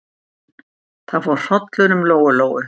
Það fór hrollur um Lóu-Lóu.